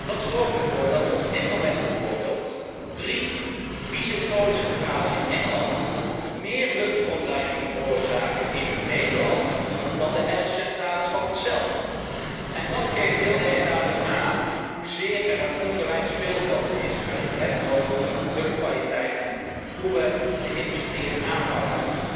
Dat zorgt ervoor dat op dit moment bijvoorbeeld drie vieze kolencentrales in Engeland meer luchtverontreiniging veroorzaken in Nederland, dan de 11 Nederlandse centrales. Het geeft heel erg duidelijk aan hoezeer er een ongelijk speelveld is, als het gaat om luchtkwaliteit en de wijze waarop we de industrieën aanpakken.